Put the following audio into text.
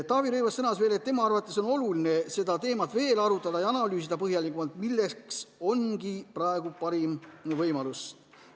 Taavi Rõivas sõnas veel, et tema arvates on oluline seda teemat veel arutada ja analüüsida põhjalikumalt, milleks ongi praegu parim võimalus.